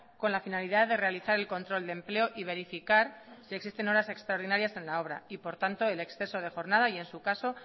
con la finalidad de realizar el control de empleo y verificar si existen horas extraordinarias en la obra y por tanto el exceso de jornada y en su caso